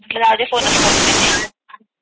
मला जाऊदे आधी फोन करून देते